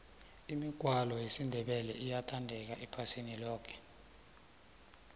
imigwalo yesindebele iyathandeka iphasi loke